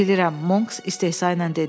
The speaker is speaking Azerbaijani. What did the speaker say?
Bilirəm, Monks istehza ilə dedi.